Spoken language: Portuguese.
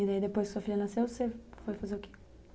E daí, depois que sua filha nasceu, você foi fazer o quê?